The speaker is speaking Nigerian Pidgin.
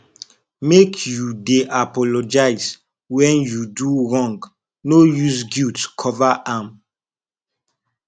make you dey apologize wen you do wrong no use guilt cover am